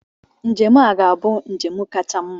Njem a ga-abụ njem kacha mma.